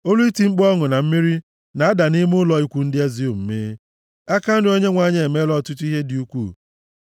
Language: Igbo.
Olu iti mkpu ọṅụ na mmeri na-ada nʼime ụlọ ikwu ndị ezi omume: “Aka nri Onyenwe anyị emeela ọtụtụ ihe dị ukwuu!